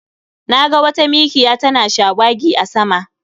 Na ga wata mikiya tana shawagi a sama